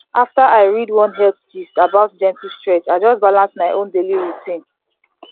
after i read one health gist about gentle stretch i just balance my own daily routine